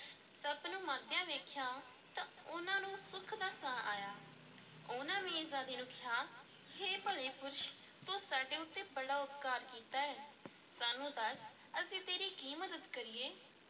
ਸੱਪ ਨੂੰ ਮਰਦਿਆਂ ਵੇਖਿਆ ਤਾਂ ਉਹਨਾਂ ਨੂੰ ਸੁਖ ਦਾ ਸਾਹ ਆਇਆ, ਉਹਨਾਂ ਮੀਰਜ਼ਾਦੇ ਨੂੰ ਕਿਹਾ, ਹੇ ਭਲੇ ਪੁਰਸ਼ ਤੂੰ ਸਾਡੇ ਉੱਤੇ ਬੜਾ ਉਪਕਾਰ ਕੀਤਾ ਹੈ ਸਾਨੂੰ ਦੱਸ ਅਸੀਂ ਤੇਰੀ ਕੀ ਮਦਦ ਕਰੀਏ?